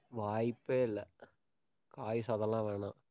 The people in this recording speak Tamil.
வாய்ப்பே இல்லை. காய் சாதம்லாம் வேணாம்.